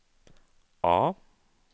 A